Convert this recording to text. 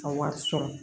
A wari sɔrɔ